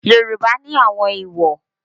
Yoruba ni àwọn èwò.